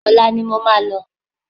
Olá ni mo máa lọ